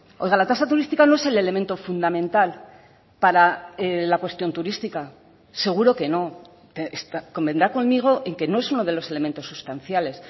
oiga la tasa turística no es el elemento fundamental para la cuestión turística seguro que no convendrá conmigo en que no es uno de los elementos sustanciales